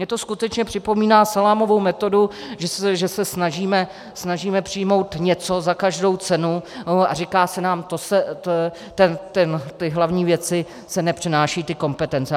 Mně to skutečně připomíná salámovou metodu, že se snažíme přijmout něco za každou cenu, a říká se nám, ty hlavní věci se nepřenášejí, ty kompetence.